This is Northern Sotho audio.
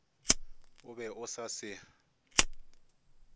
o be o sa se